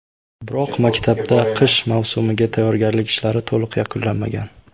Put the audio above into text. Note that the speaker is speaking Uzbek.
Biroq maktabda qish mavsumiga tayyorgarlik ishlari to‘liq yakunlanmagan.